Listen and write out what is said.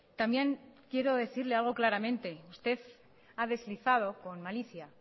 también quiero decirle algo claramente usted ha deslizado con malicia